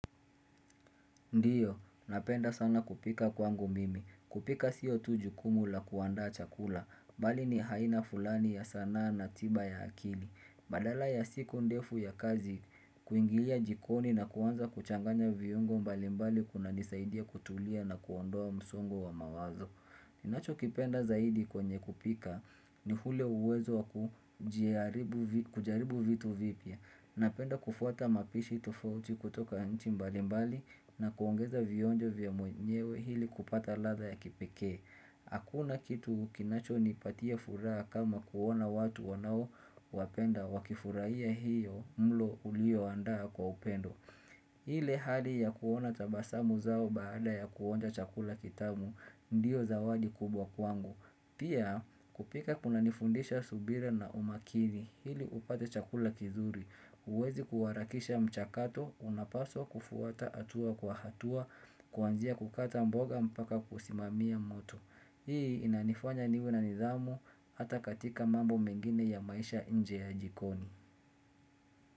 Ndio, napenda sana kupika kwangu mimi. Kupika sio tu jukumu la kuandaa chakula. Bali ni haina fulani ya sanaa na tiba ya akili. Badala ya siku ndefu ya kazi kuingia jikoni na kuanza kuchanganya viungo mbalimbali kunanisaidia kutulia na kuondoa msongo wa mawazo. Ninachokipenda zaidi kwenye kupika ni hule uwezo wa kujaribu kujaribu vitu vipya. Napenda kufuata mapishi tofauti kutoka nchi mbalimbali na kuongeza vionjo vya mwenyewe hili kupata ladha ya kipekee Hakuna kitu kinachonipatia furaha kama kuona watu wanao wapenda wakifurahia hiyo mlo ulio andaa kwa upendo hile hali ya kuona tabasamu zao baada ya kuonja chakula kitamu, ndio zawadi kubwa kwangu. Pia kupika kunanifundisha subira na umakini hili upate chakula kizuri huwezi kuharakisha mchakato, unapaswa kufuata hatua kwa hatua kuanzia kukata mboga mpaka kusimamia moto. Hii inanifanya niwe na nidhamu hata katika mambo mengine ya maisha nje ya jikoni.